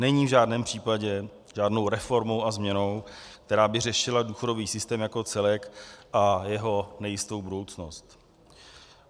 Není v žádném případě žádnou reformou a změnou, která by řešila důchodový systém jako celek a jeho nejistou budoucnost.